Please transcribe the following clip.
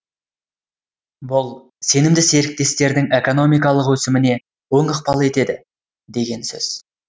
бұл сенімді серіктестердің экономикалық өсіміне оң ықпал етеді деген сөз